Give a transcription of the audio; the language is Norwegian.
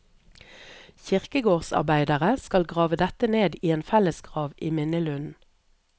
Kirkegårdsarbeidere skal grave dette ned i en fellesgrav i minnelunden.